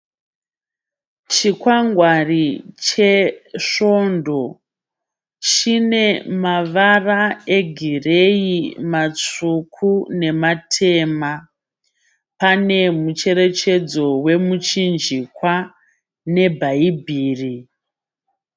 Chikwangwari chesvondo. Chine mavara egireyi, matsvuku nematema. Pane mucherechedzo wemuchinjikwa nebhayibhiri.